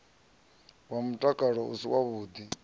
wa mutakalo u si wavhuḓi